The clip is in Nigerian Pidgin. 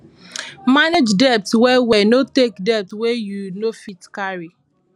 manage debt well well no take debt wey you no fit carry